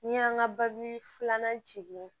N'i y'an ka babu filanan jigin